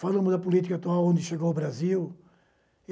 Falamos da política atual onde chegou o Brasil.